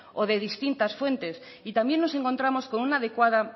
o de distintas fuentes y también nos encontramos